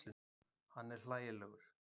Hann er hlægilegur.